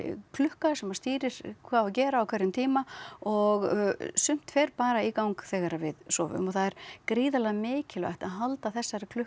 klukka sem að stýrir hvað á að gera á hverjum tíma og sumt fer bara í gang þegar við sofum og það er gríðarlega mikilvægt að halda þessari klukku